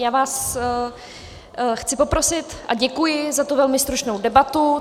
Já vás chci poprosit a děkuji za tu velmi stručnou debatu.